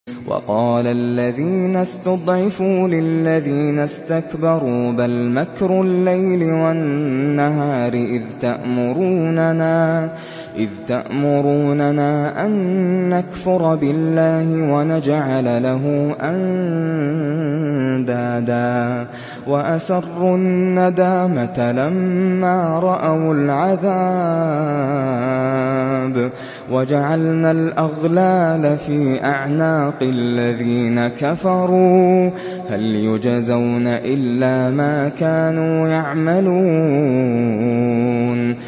وَقَالَ الَّذِينَ اسْتُضْعِفُوا لِلَّذِينَ اسْتَكْبَرُوا بَلْ مَكْرُ اللَّيْلِ وَالنَّهَارِ إِذْ تَأْمُرُونَنَا أَن نَّكْفُرَ بِاللَّهِ وَنَجْعَلَ لَهُ أَندَادًا ۚ وَأَسَرُّوا النَّدَامَةَ لَمَّا رَأَوُا الْعَذَابَ وَجَعَلْنَا الْأَغْلَالَ فِي أَعْنَاقِ الَّذِينَ كَفَرُوا ۚ هَلْ يُجْزَوْنَ إِلَّا مَا كَانُوا يَعْمَلُونَ